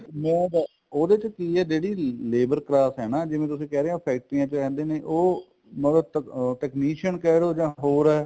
ਮੈਂ ਉਹਦੇ ਚ ਕੀ ਹੈ ਜਿਹੜੀ ਲੇਬਰ ਕਲਾਸ ਹੈ ਨਾ ਤੁਸੀਂ ਕਹਿੰਦੇ ਹੋ ਫੇਕਟਰੀਆਂ ਚ ਰਹਿੰਦੇ ਉਹ ਮਤਲਬ technician ਕਹਿਲੋ ਜਾਂ ਹੋਰ